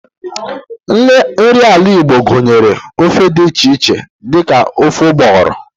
Nri ala Igbo gunyere ofe di iche iche di ka ofe ugboghoro.